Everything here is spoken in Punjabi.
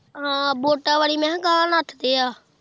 ਹਾਂ ਵੋਟਾਂ ਵਾਲੀ ਮੈਂ ਕਿਹਾ